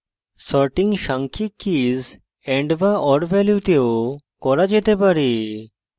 sorting সাংখ্যিক keys and/or ভ্যালুতে ও করা যেতে পারে